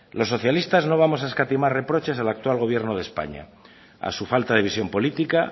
los socialistas no vamos a escatimar reproches del actual gobierno de españa a su falta de visión política